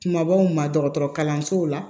Kumabaw ma dɔgɔtɔrɔ kalanso la